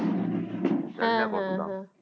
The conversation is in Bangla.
হ্যাঁ হ্যাঁ হ্যাঁ